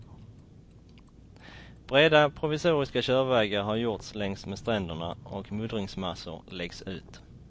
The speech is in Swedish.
Breda provisoriska körvägar har gjorts längs med stränderna och muddringsmassor läggs ut.